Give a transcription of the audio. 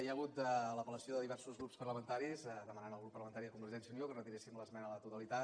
hi ha hagut l’apel·lació de diversos grups parlamentaris per demanar al grup parlamentari de convergència i unió que retiréssim l’esmena a la totalitat